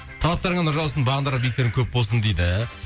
талаптарыңа нұр жаусын бағындырар биіктерің көп болсын дейді